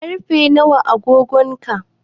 Karfe nawa a agogon ka?